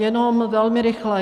Jenom velmi rychle.